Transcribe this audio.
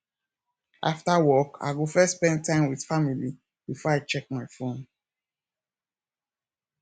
after work i go first spend time with family before i check my phone